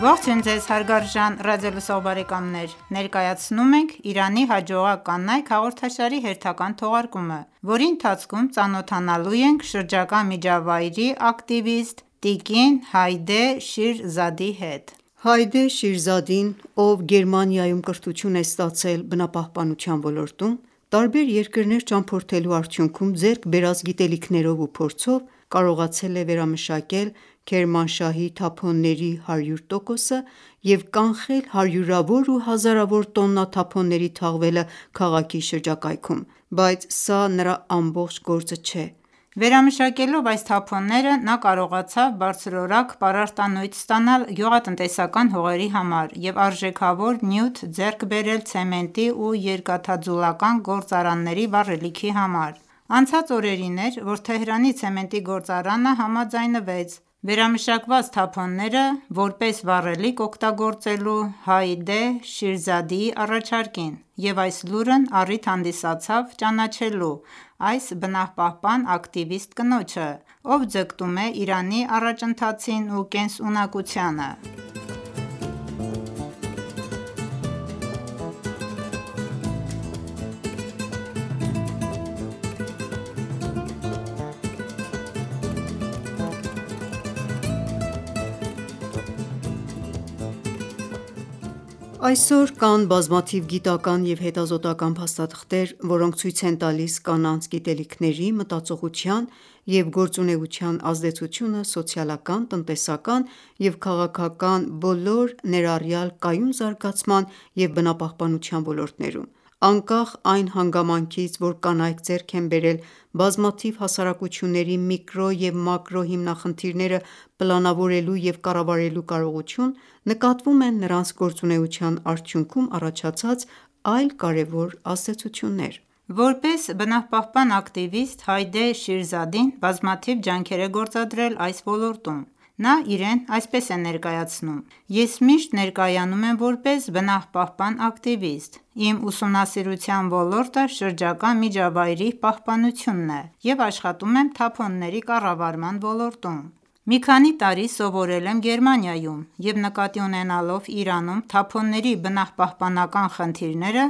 Ողջույն ձեզ հարգարժան ռադիոլսող բարեկամներ։ Ներկայացնում ենք «Իրանի հաջողակ կանայք» հաղորդաշարի հերթական թողարկումը, որի ընթացքում ծանոթանալու են շրջակա միջավայրի ակտիվիստ՝ տիկին Հայդե Շիրզադի հետ։ Հայդե Շիրզադին, ով Գերմանիայում կրթություն է ստացել բնապահպանության ոլորտում, տարբեր երկրներ ճամփորդելու արդյունքում ձեռք բերած գիտելիքներով ու փորձով կարողացել է վերամշակել Քերմանշահի թափոնների 100 տոկոսը և կանխել հարյուրավոր ու հազարավոր տոննա թափոնների թաղվելը քաղաքի շրջակայքում։ Բայց սա նրա ամբողջ գործը չէ։ Վերամշակելով այս թափոնները՝ նա կարողացավ բարձրորակ պարարտանյութ ստանալ գյուղատնտեսական հողերի համար և արժեքավոր նյութ ձեռք բերել ցեմենտի և երկաթաձուլական գործարանների վառելիքի համար։ Անցած օրերին էր, որ Թեհրանի ցեմենտի գործարանը համաձայնվեց վերամշակված թափոնները որպես վառելիք օգտագործելու Հայդե Շիրզադիի առաջարկին, և այս լուրն առիթ հանդիսացավ ճանաչելու այս բնապահպան ակտիվիստ կնոջը, ով ձգտում է Իրանի առաջընթացին ու կենսունակությանը։ Այսօր կան բազմաթիվ գիտական և հետազոտական փաստաթղթեր, որոնք ցույց են տալիս կանանց գիտելիքների, մտածողության և գործունեության ազդեցությունը սոցիալական, տնտեսական և քաղաքական բոլոր, ներառյալ կայուն զարգացման և բնապահպանության ոլորտներում: Անկախ այն հանգամանքից, որ կանայք ձեռք են բերել բազմաթիվ հասարակությունների միկրո և մակրո հիմնախնդիրները պլանավորելու և կառավարելու կարողություն, նկատվում են նրանց գործունեության արդյունքում առաջացած այլ կարևոր ազդեցություններ: Որպես բնապահպան ակտիվիստ Հայդե Շիրզադին բազմաթիվ ջանքեր է գործադրել այս ոլորտում։ Նա իրեն այսպես է ներկայացնում,-«Ես միշտ ներկայանում եմ որպես բնապահպան ակտիվիստ։ Իմ ուսումնասիրության ոլորտը շրջակա միջավայրի պահպանությունն է և աշխատում եմ թափոնների կառավարման ոլորտում։ Մի քանի տարի սովորել եմ Գերմանիայում և նկատի ունենալով Իրանում թափոնների բնապահպանական խնդիրները՝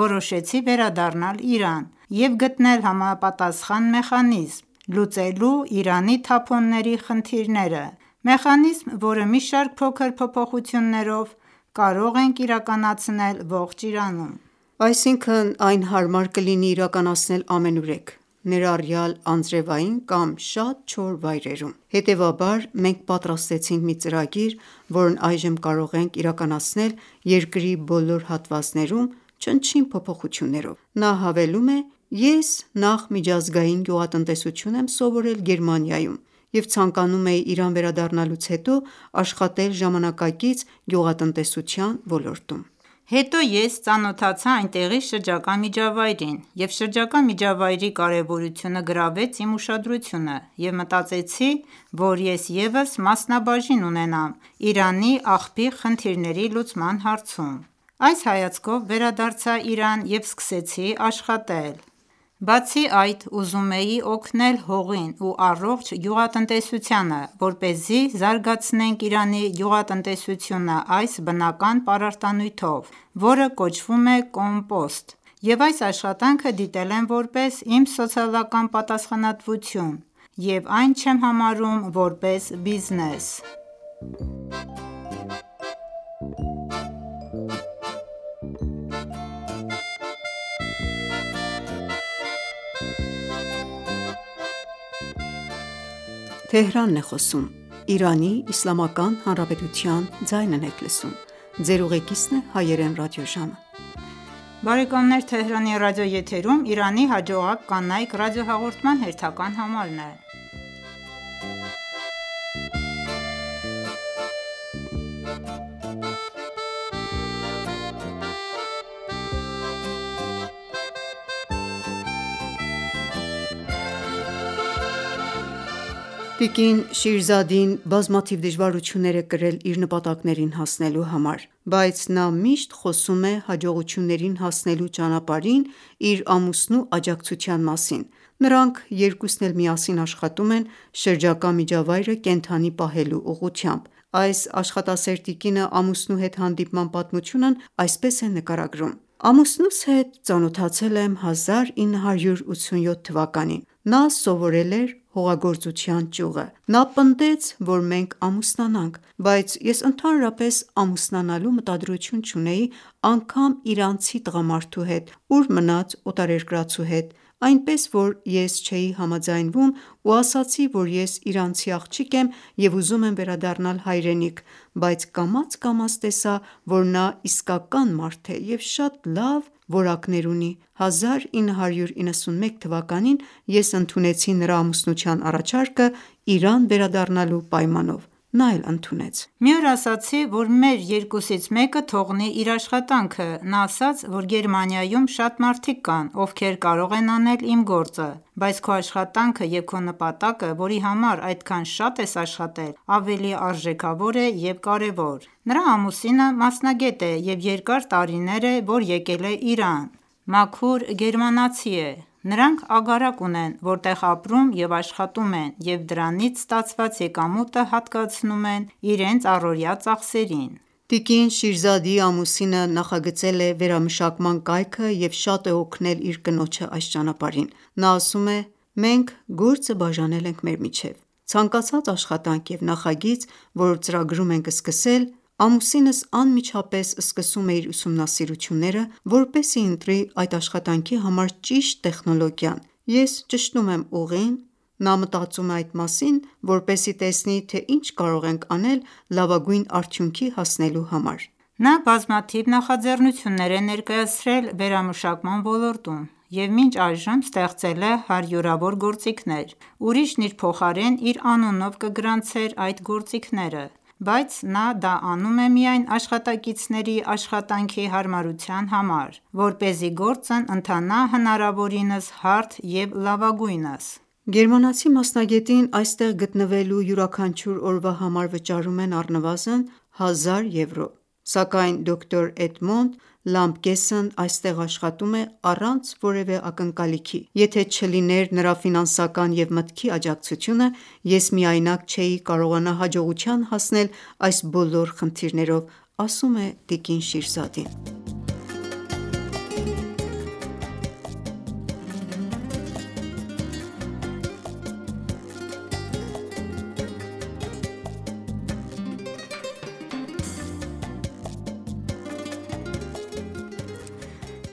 որոշեցի վերադառնալ Իրան և գտնել համապատասխան մեխանիզմ՝ լուծելու Իրանի թափոնների խնդիրները։ Մեխանիզմ, որը մի շարք փոքր փոփոխություններով կարող ենք իրականացնել ողջ Իրանում։ Այսինքն այն հարմար կլինի իրականացնել ամենուրեք, ներառյալ անձրեւային կամ շատ չոր վայրերում։ Հետևաբար, մենք պատրաստեցինք մի ծրագիր, որն այժմ կարող ենք իրականացնել երկրի բոլոր հատվածներում՝ չնչին փոփոխություններով»: Նա հավելում է.«Ես նախ միջազգային գյուղատնտեսություն եմ սովորել Գերմանիայում, և ցանկանում էի Իրան վերադառնալուց հետո աշխատել ժամանակակից գյուղատնտեսության ոլորտում: Հետո ես ծանոթացա այնտեղի շրջակա միջավայրին, և շրջակա միջավայրի կարևորությունը գրավեց իմ ուշադրությունը, և մտածեցի, որ ես ևս մասնաբաժին ունենամ Իրանի աղբի խնդիրների լուծման հարցում։ Այս հայացքով վերադարձա Իրան ու սկսեցի աշխատել։ Բացի այդ, ուզում էի օգնել հողին ու առողջ գյուղատնտեսությանը, որպեսզի զարգացնենք Իրանի գյուղատնտեսությունը այս բնական պարարտանյութով, որը կոչվում է կոմպոստ: Ես այս աշխատանքը դիտել եմ որպես իմ սոցիալական պատասխանատվություն և այն չեմ համարում որպես բիզնես։ Տիկին Շիրզադին բազմաթիվ դժվարություններ է կրել իր նպատակներին հասնելու ճանապարհին։ Բայց նա միշտ խոսում է հաջողություններին հասնելու ճանապարհին իր ամուսնու աջակցության մասին։ Նրանք երկուսն էլ միասին աշխատում են շրջակա միջավայրը կենդանի պահելու ուղղությամբ: Այս աշխատասեր տիկինը ամուսնու հետ հանդիպման պատմությունն այսպես է նկարագրում.«Ամուսնուս հետ ծանոթացել եմ 1987թվականին։ Նա սովորել էր հողագործության ճյուղը։ Նա պնդեց, որ մենք ամուսնանանք, բայց ես ընդհանրապես ամուսնանալու մտադրություն չունեի անգամ իրանցի տղամարդու հետ, ուր մնաց օտարերկրացու հետ, այնպես որ ես չէի համաձայնվում ու ասացի, որ ես իրանցի աղջիկ եմ և ուզում եմ վերադառնալ հայրենիք։ Բայց կամաց-կամաց տեսա, որ նա իսկական մարդ է և շատ լավ որակներ ունի։ 1991 թվականին ես ընդունեցի նրա ամուսնության առաջարկը՝ Իրան վերադառնալու պայմանով։ Նա էլ ընդունեց։ Մի օր ասացի, որ մեր երկուսից մեկը թողնի իր աշխատանքը, նա ասաց, որ Գերմանիայում շատ մարդիկ կան, ովքեր կարող են անել իմ գործը, բայց քո աշխատանքը և քո նպատակը, որի համար այդքան շատ ես աշխատել, ավելի արժեքավոր է և կարևոր: Նրա ամուսինը մասնագետ է, երկար տարիներ է, որ եկել է Իրան, մաքուր գերմանացի է։ Նրանք ագարակ ունեն, որտեղ ապրում և աշխատում են և դրանից ստացված եկամուտը հատկացնում են իրենց առօրյա ծախսերին ։ Տիկին Շիրզադիի ամուսինը նախագծել է վերամշակման կայքը և շատ է օգնել իր կնոջը այս ճանապարհին։ Նա ասում է. «Մենք գործը բաժանել ենք մեր միջև։ Ցանկացած աշխատանք և նախագիծ, որ ծրագրում ենք սկսել, ամուսինս անմիջապես սկսում է իր ուսումնասիրությունները, որպեսզի ընտրի այդ աշխատանքի համար ճիշտ տեխնոլոգիա։ Ես ճշտում եմ ուղին, և նա մտածում է այդ մասին, որպեսզի տեսնի, թե ինչ կարող ենք անել լավագույն արդյունքի հասնելու համար: Նա բազմաթիվ նախաձեռնություններ է ներկայացրել վերամշակման ոլորտում և մինչ այժմ ստեղծել է հարյուրավոր գործիքներ: Ուրիշն իր փոխարեն իր անունով կգրանցեր այդ գործիքները, բայց նա դա անում է միայն աշխատակիցների աշխատանքի հարմարության համար, որպեսզի գործն ընթանա հնարավորինս հարթ և լավագույնս։ Գերմանացի մասնագետին այստեղ գտնվելու յուրաքանչյուր օրվա համար վճարում են առնվազն 1000 եվրո, սակայն դոկտոր Էդմոնդ Լամպգեսն այստեղ աշխատում է առանց որևէ ակնկալիքի։ Եթե չլիներ նրա ֆինանսական և մտքի աջակցությունը, ես միայնակ չէի կարողանա հաջողության հասնել այս բոլոր խնդիրներով», ասում է տիկին Շիրզադին։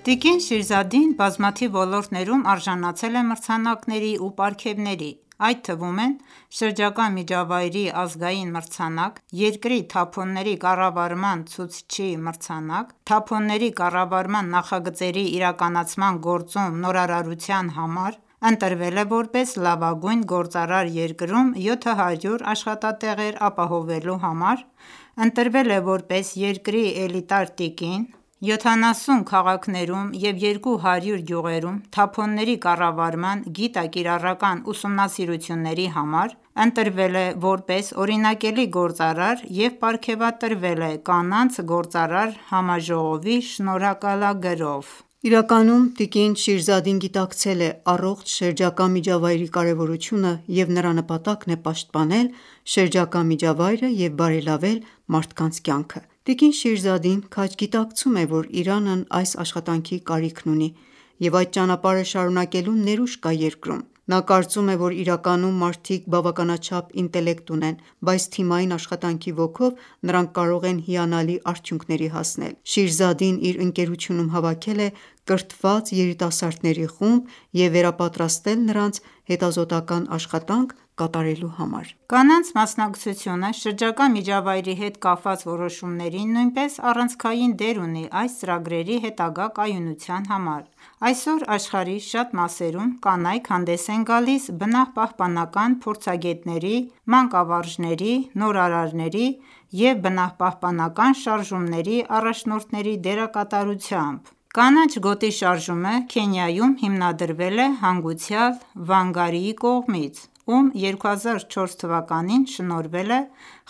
Տիկին Շիրզադին բազմաթիվ ոլորտներում արժանացել է մրցանակների ու պարգևների, այդ թվում են՝ Շրջակա միջավայրի ազգային մրցանակ (2003-1382 թ․), Երկրի թափոնների կառավարման ցուցիչի մրցանակ՝ թափոնների կառավարման նախագծերի իրականացման գործում նորարարության համար (2004-2005 / 1383-1384 թթ.), ընտրվել է որպես լավագույն գործարար երկրում 700 աշխատատեղեր ապահովելու համար (2006-1385), ընտրվել է որպես երկրի էլիտար տիկին, 70 քաղաքներում և 200 գյուղերում թափոնների կառավարման գիտա-կիրառական ուսումնասիրությունների համար (2007-1386 թթ.), ընտրվել է,որպես օրինակելի գործածար և պարգևատրվել է կանանց գործարար համաժողովի շնորհակալագրով (2015-1394 թթ.)։ Իրականում, տիկին Շիրզադին գիտակցել է առողջ շրջակա միջավայրի կարևորությունը, և նրա նպատակն է պաշտպանել շրջակա միջավայրը և բարելավել մարդկանց կյանքը: Տիկին Շիրզադին քաջ գիտակցում է, որ Իրանն այս աշխատանքի կարիքն ունի, և այդ ճանապարհը շարունակելու ներուժ կա երկրում։ Նա կարծում է, որ Իրանում մարդիկ բավականաչափ ինտելեկտ ունեն, բայց թիմային աշխատանքի ոգով նրանք կարող են հիանալի արդյունքների հասնել։ Հայդե Շիրզադին իր ընկերությունում հավաքել է կրթված երիտասարդների խումբ և վերապատրաստել նրանց, հետազոտական աշխատանք կատարելու համար: Կանանց մասնակցությունը շրջակա միջավայրի հետ կապված որոշումներին նույնպես առանցքային դեր ունի այս ծրագրերի հետագա կայունության համար: Այսօր աշխարհի շատ մասերում կանայք հանդես են գալիս բնապահպանական փորձագետների, մանկավարժների, նորարարների և բնապահպանական շարժումների առաջնորդների դերակատարությամբ: «Կանաչ գոտի» շարժումը Քենիայում հիմնադրվել է հանգուցյալ Վանգարիի կողմից, ում 2004 թվականին շնորհվել է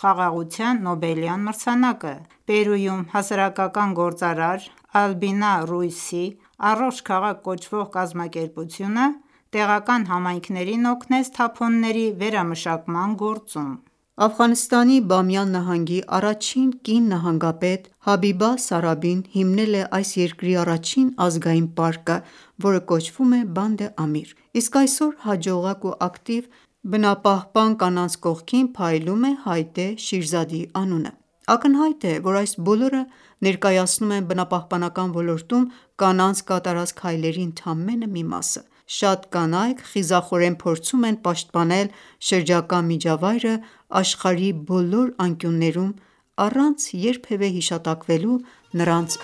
Խաղաղության Նոբելյան մրցանակը: Պերուում հասարակական գործարար Ալբինա Ռուիսի «Առողջ քաղաք» կոչվող կազմակերպությունը տեղական համայնքներին օգնեց թափոնների վերամշակման գործում: Աֆղանստանի Բամիյան նահանգի առաջին կին նահանգապետ Հաբիբա Սարաբին հիմնել է այս երկրի առաջին ազգային պարկը, որը կոչվում է Band Amir: Իսկ այսօր հաջողակ ու ակտիվ բնապահպան կանանց կողքին փայլում է Հայդե Շիրզադիի անունը։ Ակնհայտ է, որ այս բոլորը ներկայացնում են բնապահպանական ոլորտում կանանց կատարած քայլերի ընդամենը մի մասը: Շատ կանայք խիզախորեն փորձում են պաշտպանել շրջակա միջավայրը աշխարհի բոլոր անկյուններում՝ առանց երբևէ հիշատակվելու նրանց